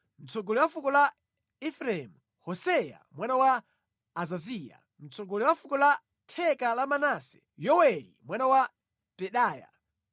mtsogoleri wa fuko la Efereimu: Hoseya mwana wa Azaziya; mtsogoleri wa fuko la theka la Manase: Yoweli mwana wa Pedaya;